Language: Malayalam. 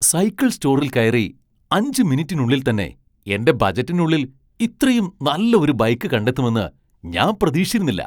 സൈക്കിൾ സ്റ്റോറിൽ കയറി അഞ്ച് മിനിറ്റിനുള്ളിൽത്തന്നെ എന്റെ ബജറ്റിനുള്ളിൽ ഇത്രയും നല്ല ഒരു ബൈക്ക് കണ്ടെത്തുമെന്ന് ഞാൻ പ്രതീക്ഷിച്ചിരുന്നില്ല.